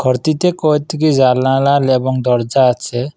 প্রতিটা জালনালাল এবং দরজা আছে।